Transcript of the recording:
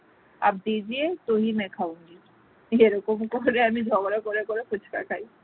এইরকম করে আমি ঝগড়া করে করে ফুচকা খাই